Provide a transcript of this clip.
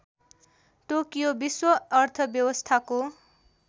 Tokyo विश्व अर्थव्यस्थाको